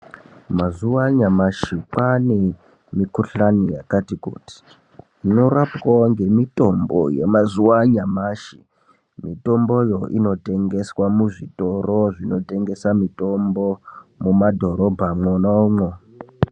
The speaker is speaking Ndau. Mazuwa anyamashi kwane mikuhlani yakati kuti inorapwawo ngemitombo yamazuwa anyamashi, mitomboyo inotengeswa muzvitoro zvinotengesa mitombo mumadhorobha mwonamwo.